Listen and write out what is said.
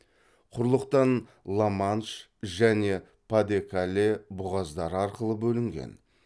құрлықтан ла манш және па де кале бұғаздары арқылы бөлінген